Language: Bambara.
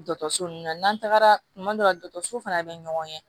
Dɔkɔtɔrɔso nunnu na n'an tagara kumadɔ la dɔkɔtɔrɔso fana be ɲɔgɔn ɲɛ